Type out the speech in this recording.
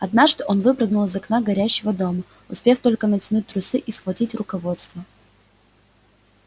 однажды он выпрыгнул из окна горящего дома успев только натянуть трусы и схватить руководство